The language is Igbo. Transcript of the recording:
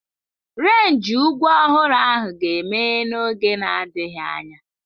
Renji ugwu ọhụrụ ahụ ga-emeghe n'oge na-adịghị anya.